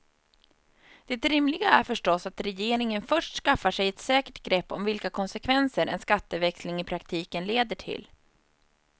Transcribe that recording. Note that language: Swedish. Det rimliga är förstås att regeringen först skaffar sig ett säkert grepp om vilka konsekvenser en skatteväxling i praktiken leder till.